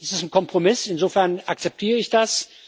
Es ist ein Kompromiss, insofern akzeptiere ich das.